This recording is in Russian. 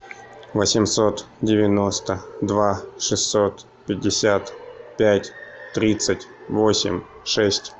восемьсот девяносто два шестьсот пятьдесят пять тридцать восемь шесть